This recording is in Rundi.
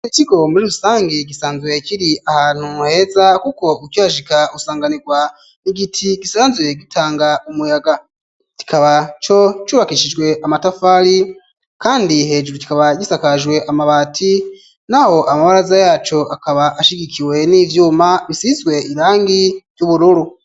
Iikigo muri rusangi gisanzwuye kiri ahantu nheza, kuko ukyashika usanganirwa ni giti gisanzwye gitanga umuyaga kikaba co cubakishijwe amatafali, kandi hejuru kikaba gisakajwe amabati na ho amabaraza yaco akaba ashigikiwe n'ivyuma bisizwe irangi ry'ubuwe.